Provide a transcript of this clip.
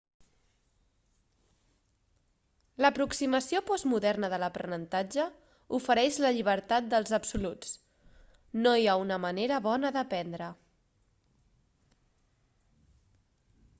l'aproximació postmoderna de l'aprenentatge ofereix la llibertat dels absoluts no hi ha una manera bona d'aprendre